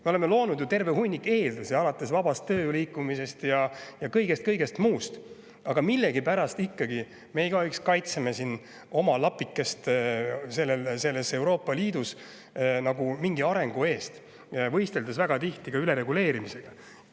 Me oleme loonud terve hunniku eeldusi, näiteks vaba tööjõu liikumine ja kõik muu, aga millegipärast me nagu igaüks kaitseme oma lapikest Euroopa Liidus arengu eest, võisteldes väga tihti ka ülereguleerimises.